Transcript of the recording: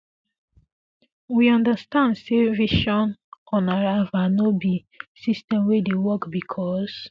we understand say visaonarrival no be um system um wey dey work bicos